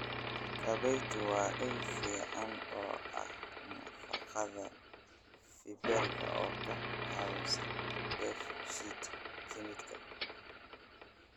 Kabaytu waa il fiican oo ah nafaqada fiberka oo ka caawisa dheef-shiid kiimikaad.